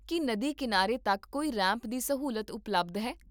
ਕੀ ਨਦੀ ਕੀਨਾਰੇ ਤੱਕ ਕੋਈ ਰੈਂਪ ਦੀ ਸਹੂਲਤ ਉਪਲਬਧ ਹੈ?